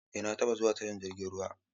Eh na taɓa zuwa tashar jirgin ruwa.